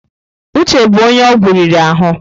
Uche bụ onye ọgwụ riri ahụ.